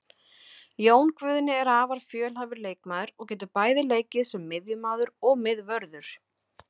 Jón Guðni er afar fjölhæfur leikmaður og getur bæði leikið sem miðjumaður og miðvörður.